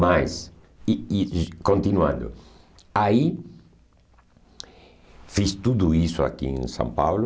Mas, e e continuando, aí fiz tudo isso aqui em São Paulo,